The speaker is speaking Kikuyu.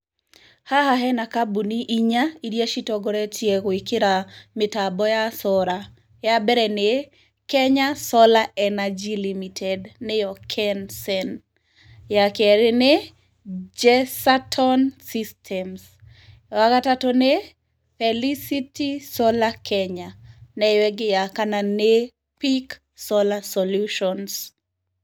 Haha hena kambuni inya iria citongoretie gũĩkĩra mĩtambo ya solar. Ya mbere nĩ Kenya Solar Energy Limited, nĩyo (KENSEN), ya kerĩ nĩ, Jesaton Systems, ya gatatũ nĩ, Felicity Solar Kenya, na ĩyo ĩngĩ ya kana nĩ, Peak Solar Solutions.